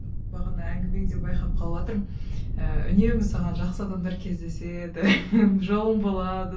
бағана әңгімеңде байқап қалыватырмын ііі үнемі саған жақсы адамдар кездеседі жолың болады